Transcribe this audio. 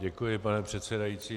Děkuji, pane předsedající.